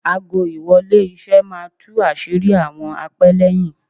Aago- ìwọlé- iṣẹ́ máa tú àṣírí àwọn apẹ́lẹ́yìn.